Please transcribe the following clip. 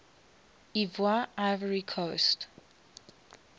ivoire ivory coast